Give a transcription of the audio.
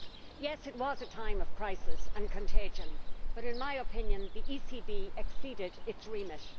Yes, it was a time of crisis and contagion, but in my opinion the ECB exceeded its remit.